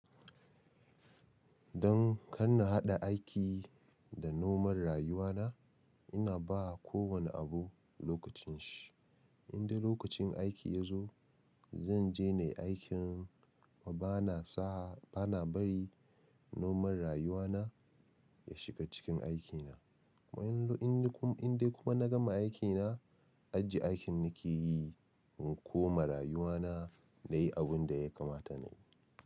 Dan kar na haɗa aiki da normal rayuwa na, ina ba kowanne abu lokacin shi. In dai lokacin aiki ya zo, zan je na yi aikin bana bari normal rayuwa na ya shiga cikin aikina. In dai kuma na gama aikina, ajiye aikin nake yi in koma rayuwa na na yi abun da ya kamata na yi.